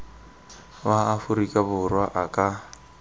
wa aforika borwa a ka